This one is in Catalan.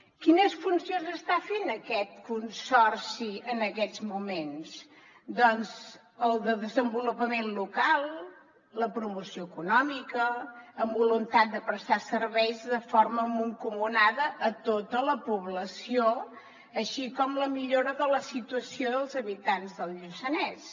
quines funcions està fent aquest consorci en aquests moments doncs el de desenvolupament local la promoció econòmica amb voluntat de prestar serveis de forma mancomunada a tota la població així com la millora de la situació dels habitants del lluçanès